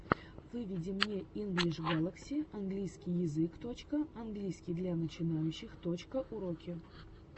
выведи мне инглиш галакси английский язык точка английский для начинающих точка уроки английского языка